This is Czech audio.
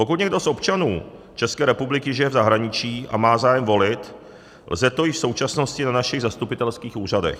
Pokud někdo z občanů České republiky žije v zahraničí a má zájem volit, lze to již v současnosti na našich zastupitelských úřadech.